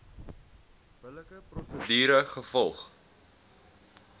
billike prosedure gevolg